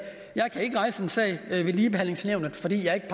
jeg kan ikke rejse en sag ved ligebehandlingsnævnet fordi jeg ikke